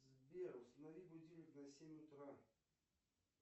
сбер установи будильник на семь утра